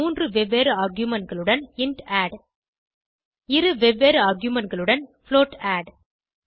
மூன்று வெவ்வேறு argumentகளுடன் இன்ட் ஆட் இரு வெவ்வேறு argumentகளுடன் புளோட் ஆட்